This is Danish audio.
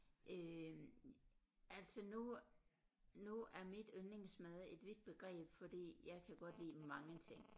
Øh altså nu nu er mit yndlingsmad et vidt begreb fordi jeg kan godt lide mange ting